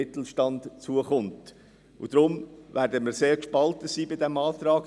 Deshalb werden wir sehr gespalten sein bei diesem Antrag.